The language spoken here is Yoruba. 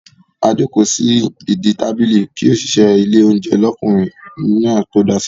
A jókòó sí ìdí tábìlì kí òṣìṣẹ́ ilé oúnjẹ l'ọkunrin náà tó dá sí wa.